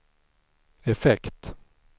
effekt